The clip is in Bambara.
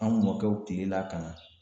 An mɔkɛw tile la ka na